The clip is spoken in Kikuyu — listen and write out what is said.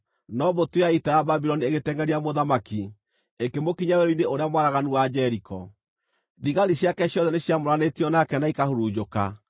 no mbũtũ ya ita ya Babuloni ĩgĩtengʼeria mũthamaki, ĩkĩmũkinyĩra werũ-inĩ ũrĩa mwaraganu wa Jeriko. Thigari ciake ciothe nĩciamũranĩtio nake na ikahurunjũka.